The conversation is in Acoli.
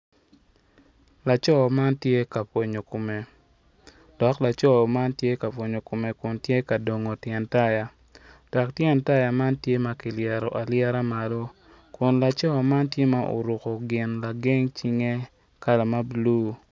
Laco man tye ka pwonyo kome tye ka dano aryo ma gitye ka wot i yo bene gumako jami moni i cingi nen calo gityo kwede me kwan i pii onyo me wot kun laco man tye oruko gin lageng cinge ma bulu.